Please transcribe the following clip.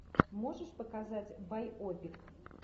можешь показать байопик